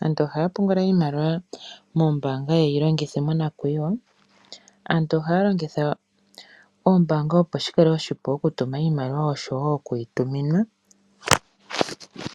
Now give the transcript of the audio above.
Aantu ohaya pungula iimaliwa moombanga yeyi longithe monakwiiwa . Aantu ohaya longitha oombanga opo shikale oshipu okutuma iimaliwa oshowo oku yi tuminwa.